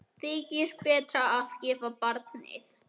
Þykir betra að gefa barnið.